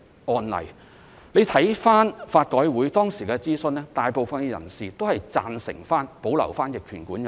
大家回看法改會當時的諮詢，大部分人士均贊成保留逆權管有條文。